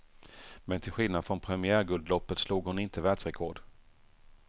Men till skillnad från premiärguldloppet slog hon inte världsrekord.